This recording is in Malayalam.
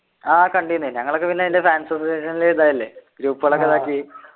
ആഹ് കണ്ടിന് ഞങ്ങളൊക്കെ പിന്നെ അതിൻ്റെ fans association ലെ ഇതല്ലേ group കൾ ഒക്കെ ഇതാക്കി